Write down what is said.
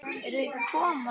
Eruð þið ekki að koma?